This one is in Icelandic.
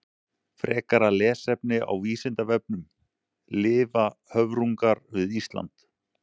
Frekara lesefni á Vísindavefnum: Lifa höfrungar við Ísland?